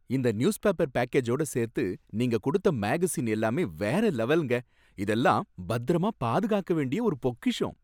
இந்த நியூஸ்பேப்பர் பேக்கேஜோட சேர்த்து நீங்க கொடுத்த மேகஸின் எல்லாமே வேற லெவல்ங்க, இதெல்லாம் பத்திரமா பாதுகாக்க வேண்டிய ஒரு பொக்கிஷம்.